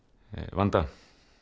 vanda